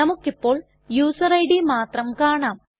നമുക്കിപ്പോൾ user ID മാത്രം കാണാം